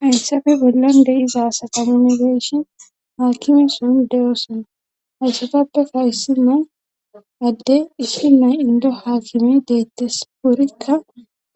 Haysappe bollon de7iza asa qamongeeshin haakime son de7oosana hayssatappeka issi nay adde issi nay indo haakime deettes worikka